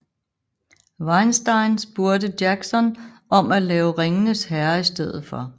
Weinstein spurgte Jackson om at lave Ringenes herre i stedet for